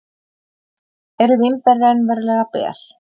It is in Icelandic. Eru vínber raunverulega ber?